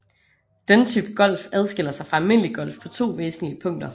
Denne type golf adskiller sig fra almindelig golf på to væsentlige punkter